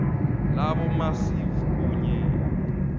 labo amacv kunye